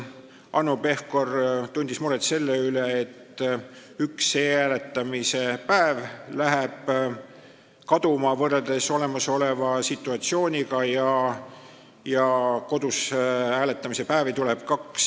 Hanno Pevkur tundis muret selle pärast, et võrreldes olemasoleva situatsiooniga läheb üks e-hääletamise päev kaduma ja kaks kodus hääletamise päeva tuleb juurde.